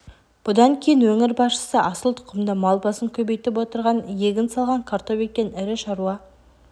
бұдан кейін өңір басшысы асыл тұқымды мал басын көбейтіп отырған егін салған картоп еккен ірі шаруа